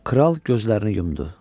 Kral gözlərini yumdu.